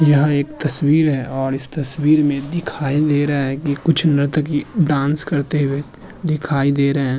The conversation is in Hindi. यह एक तस्वीर है और इस तस्वीर में दिखाई दे रहा है कि कुछ नर्तकी डांस करते हुए दिखाई दे रहे --